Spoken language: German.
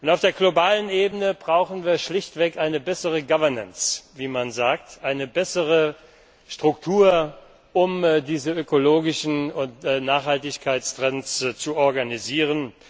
Auf der globalen Ebene brauchen wir schlichtweg eine bessere governance wie man sagt, eine bessere Struktur, um diese ökologischen und Nachhaltigkeitstrends zu organisieren.